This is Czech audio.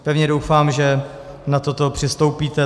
Pevně doufám, že na toto přistoupíte.